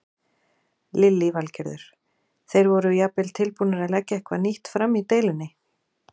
Lillý Valgerður: Þeir voru jafnvel tilbúnir að leggja eitthvað nýtt fram í deilunni?